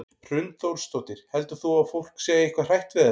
Hrund Þórsdóttir: Heldur þú að fólk sé eitthvað hrætt við þetta?